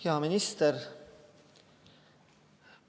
Hea minister!